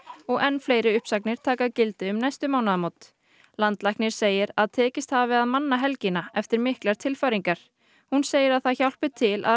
og enn fleiri uppsagnir taka gildi um næstu mánaðamót landlæknir segir að tekist hafi að manna helgina eftir miklar tilfæringar hún segir að það hjálpi til að